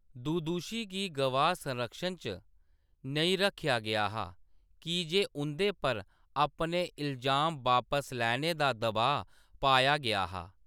दुदुशी गी गवाह संरक्षण च नेईं रक्खेआ गेआ हा, की जे उं'दे पर अपने इलजाम बापस लैने दा दबाऽ पाया गेआ हा।